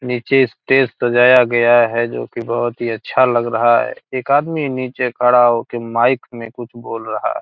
नीचे स्टेज सजाया गया है जो कि बहोत ही अच्छा लग रहा है। एक आदमी नीचे खड़ा होके माइक में कुछ बोल रहा है।